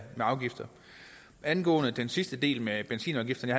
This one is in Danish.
afgifter angående den sidste del med benzinafgifterne